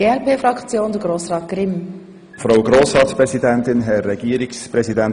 Beinahe alles wurde bereits gesagt.